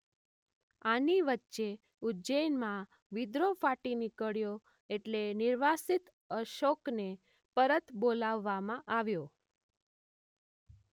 આની વચ્ચે ઉજ્જૈનમાં વિદ્રોહ ફાટી નિકળ્યો એટલે નિર્વાસિત અશોક્ને પરત બોલાવવામાં આવ્યો.